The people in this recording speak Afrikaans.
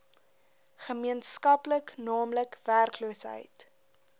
gemeenskaplik naamlik werkloosheid